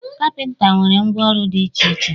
Kapịnta nwere ngwa ọrụ dị iche iche